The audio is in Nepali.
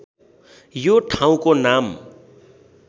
यो ठाउँको नाम